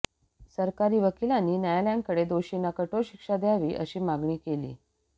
सरकारी वकीलांनी न्यायालयाकडे दोषींना कठोर शिक्षा द्यावी अशी मागणी केली